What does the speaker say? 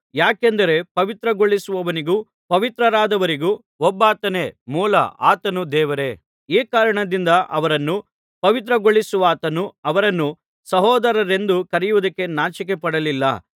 ಯಾಕೆಂದರೆ ಪವಿತ್ರಗೊಳಿಸುವವನಿಗೂ ಪವಿತ್ರರಾದವರಿಗೂ ಒಬ್ಬಾತನೇ ಮೂಲ ಆತನು ದೇವರೇ ಈ ಕಾರಣದಿಂದ ಅವರನ್ನು ಪವಿತ್ರಗೊಳಿಸುವಾತನು ಅವರನ್ನು ಸಹೋದರರೆಂದು ಕರೆಯುವುದಕ್ಕೆ ನಾಚಿಕೆಪಡಲಿಲ್ಲ